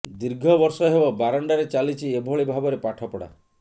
ଦୀର୍ଘ ବର୍ଷ ହେବ ବାରଣ୍ଡାରେ ଚାଲିଛି ଏଭଳି ଭାବରେ ପାଠପଢା